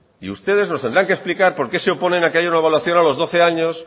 y ustedes nos tendrán que explicar por qué se oponen a que haya una evaluación a los doce años